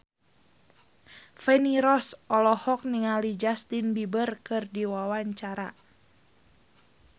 Feni Rose olohok ningali Justin Beiber keur diwawancara